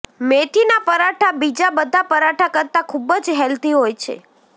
મેથીના પરાઠા બીજા બધા પરાઠા કરતાં ખૂબ જ હેલ્ધી હોય છે